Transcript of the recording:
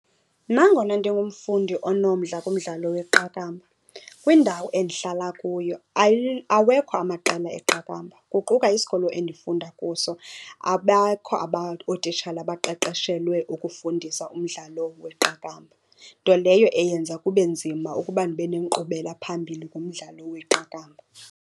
Nangona ndingumfundi onomdla kumdlalo weqakamba, kwindawo endihlala kuyo awekho amaqela eqakamba. Kuquka isikolo endifunda kuso, abakho ootitshala abaqeqeshelwe ukufundisa umdlalo weqakamba, nto leyo eyenza kube nzima ukuba ndibe nenkqubelaphambili kumdlalo weqakamba.